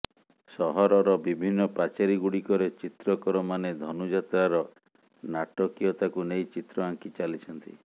ସହରର ବିଭିନ୍ନ ପାଚେରିଗୁଡ଼ିକରେ ଚିତ୍ରକରମାନେ ଧନୁଯାତ୍ରାର ନାଟକୀୟତାକୁ ନେଇ ଚିତ୍ର ଆଙ୍କି ଚାଲିଛନ୍ତି